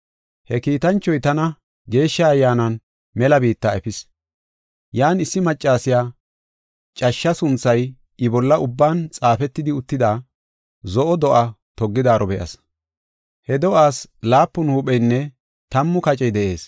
He kiitanchoy tana Geeshsha Ayyaanan mela biitta efis. Yan issi maccasiya cashsha sunthay I bolla ubban xaafetidi uttida, zo7o do7aa toggidaaro be7as; he do7aas laapun huupheynne tammu kacey de7ees.